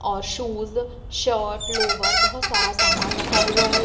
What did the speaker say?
और shoes shirt lower बहुत सारा समान रखा हुआ हैं।